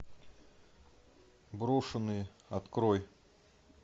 брошенные открой